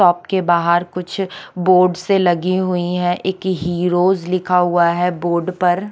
shop के बहार कुछ बोर्ड से लगे हुए है एक हीरोज लिखा ह्गुआ है बोर्ड पर --